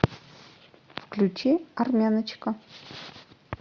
включи армяночка